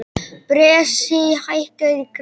Bresi, hækkaðu í græjunum.